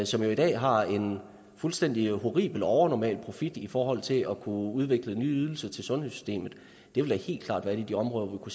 som jo i dag har en fuldstændig horribel og overnormal profit i forhold til at kunne udvikle nye ydelser til sundhedssystemet det vil da helt klart være et af de områder hvor